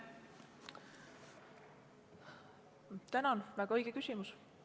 Tänan, väga õige küsimus!